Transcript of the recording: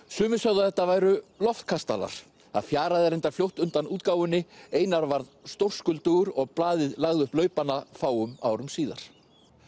sumir sögðu að þetta væru loftkastalar það fjaraði reyndar fljótt undan útgáfunni einar varð stórskuldugur og blaðið lagði upp laupana fáum árum síðar